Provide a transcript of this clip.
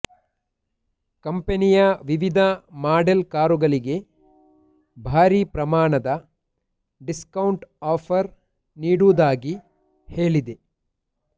ಕಂಪನಿಯ ವಿವಿಧ ಮಾಡೆಲ್ ಕಾರುಗಳಿಗೆ ಭಾರಿ ಪ್ರಮಾಣದ ಡಿಸ್ಕೌಂಟ್ ಆಫರ್ ನೀಡುವುದಾಗಿ ಹೇಳಿದೆ